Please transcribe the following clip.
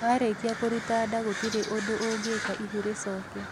Warĩkia kũruta nda gũtirĩ ũndũ ũngĩka ihu rĩcoke